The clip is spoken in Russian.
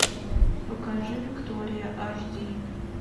покажи виктория аш ди